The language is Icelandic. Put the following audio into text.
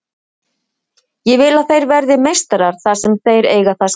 Ég vill að þeir verði meistarar þar sem þeir eiga það skilið.